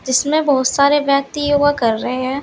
इसमें बहुत सारे व्यक्ति योगा कर रहे है।